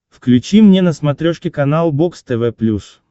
включи мне на смотрешке канал бокс тв плюс